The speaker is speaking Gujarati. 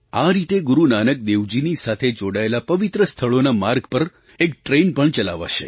આ રીતે ગુરુ નાનક દેવજીના સાથે જોડાયેલા પવિત્ર સ્થળોના માર્ગ પર એક ટ્રેન પણ ચલાવાશે